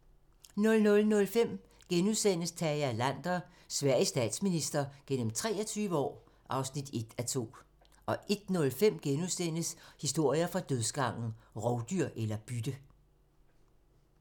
00:05: Tage Erlander - Sveriges statsminister gennem 23 år (1:2)* 01:05: Historier fra dødsgangen - Rovdyr eller bytte? *